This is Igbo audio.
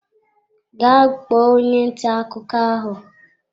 Gaa kpọọ onye ntà akụkọ ahụ!